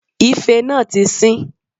Ife náà tí sín